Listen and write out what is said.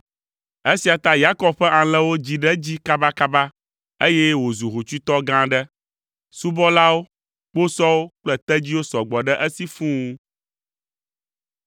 Esia ta Yakob ƒe alẽwo dzi ɖe edzi kabakaba, eye wòzu hotsuitɔ gã aɖe. Subɔlawo, kposɔwo kple tedziwo sɔ gbɔ ɖe esi fũu.